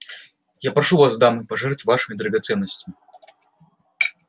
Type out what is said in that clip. я прошу вас дамы пожертвовать вашими драгоценностями